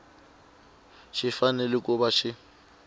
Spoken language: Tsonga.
xi fanele ku va xi